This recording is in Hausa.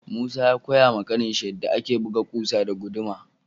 Musa ya Koya ma kanin shi yanda ake buga kusa da guduma.